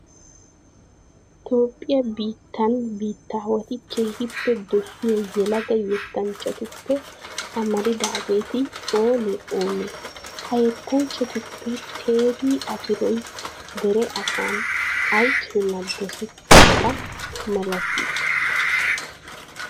Toophphiya biittan biittaawati keehippe dosiya yelaga yettanchchatuppe amaridaageeti oonee oonee? Ha yettanchchatuppe Teedii Afiroy dere asan ay keenaa dosettiyaba malatii?